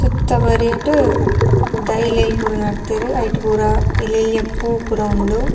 ಸುತ್ತ ಬರಿಟ್ ದೈಲೆಲ್ ಪೂರ ನಡ್ತೆರ್ ಐಟ್ ಪೂರ ಎಲ್ಲೆಲ್ಲ್ಯ ಪೂ ಪೂರ ಉಂಡು.